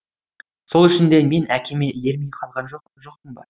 сол үшін де мен әкеме ермей қалған жоқпын ба